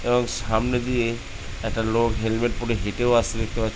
এবং সামনে দিয়ে একটা লোক হেলমেট পরে হেটেও আসছে দেখতে পা --